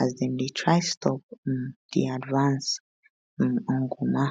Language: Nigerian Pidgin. as dem dey try stop um di advance um on goma